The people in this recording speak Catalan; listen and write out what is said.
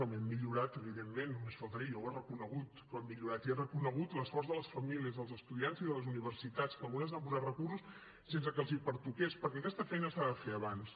home hem millorat evidentment només faltaria jo ho he reconegut que hem millorat i he reconegut l’esforç de les famílies dels estudiants i de les universitats que algunes han posat recursos sense que els pertoqués perquè aquesta feina s’ha de fer abans